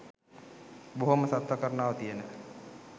බොහොම සත්ව කරුණාව තියෙන